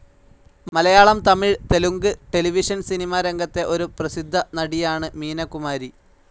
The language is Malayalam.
മലയാളം, തമിഴ്, തെലുങ്ക്, ടെലിവിഷൻ സിനിമ രംഗത്തെ ഒരു പ്രസിദ്ധ നടിയാണ് മീന കുമാരി.